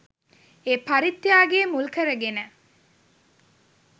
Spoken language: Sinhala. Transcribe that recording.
ඒ පරිත්‍යාගය මුල් කරගෙන